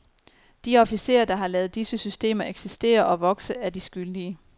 De officerer, der har ladet disse systemer eksistere og vokse, er de skyldige.